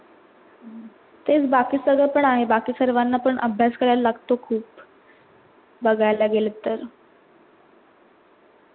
तेच बाकी सारव पण आहे, बाकी सर्वांना पण अभयास करायला लागतो खूप बगायला गेलेत तर